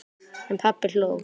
En pabbi hló.